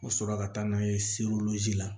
U sɔrɔ ka taa n'a ye la